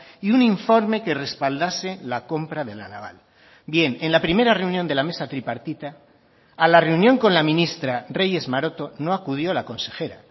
y un informe que respaldase la compra de la naval bien en la primera reunión de la mesa tripartita a la reunión con la ministra reyes maroto no acudió la consejera